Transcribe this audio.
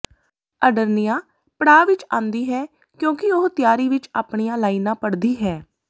Adriana ਪੜਾਅ ਵਿਚ ਆਉਂਦੀ ਹੈ ਕਿਉਂਕਿ ਉਹ ਤਿਆਰੀ ਵਿਚ ਆਪਣੀਆਂ ਲਾਈਨਾਂ ਪੜ੍ਹਦੀ ਹੈ